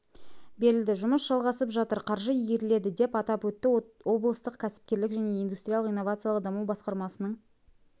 берілді жұмыс жалғасып жатыр қаржы игеріледі деп атап өтті облыстық кәсіпкерлік және индустриялық-инновациялық даму басқармасының